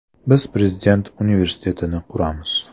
Biz Prezident universitetini quramiz.